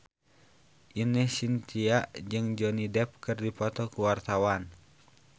Ine Shintya jeung Johnny Depp keur dipoto ku wartawan